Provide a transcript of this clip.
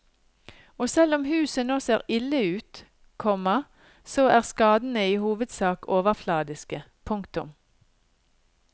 Og selv om huset nå ser ille ut, komma så er skadene i hovedsak overfladiske. punktum